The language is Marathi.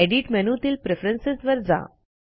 एडिट मेनूतील प्रेफरन्स वर जा